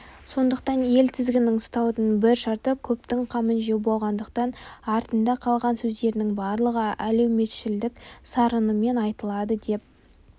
сондықтан ел тізгінін ұсаудың бір шарты көптің қамын жеу болғандықтан артында қалған сөздерінің барлығы әлеуметшілдік сарынымен айтылады деп